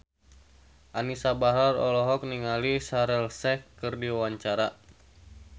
Anisa Bahar olohok ningali Shaheer Sheikh keur diwawancara